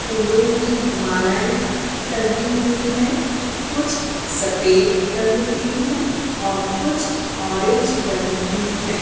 फूलों की मालाएँ टंगी हुई हैं कुछ सफेद रंग की हैं और कुछ ऑरेंज रंग की हैं।